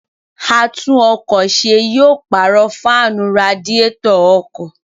Àtún-ọkọ̀-se yóò pààrọ̀ fáànù radiétọ̀ ọkọ̀.